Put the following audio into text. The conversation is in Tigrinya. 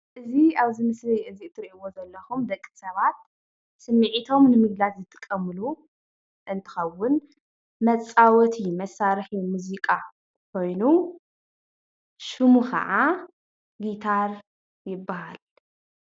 እዚ ኣብዚ ምስሊ እዚ እትሪእዎ ዘለኹም ደቂ ሰባት ስሚዒቶም ንምግላፅ ዝጥቀምሉ እንትኸውን መፃወቲ መሳርሒ ሙዚቃ ኾይኑ ሽሙ ኸዓ ጊታር ይባሃል፡፡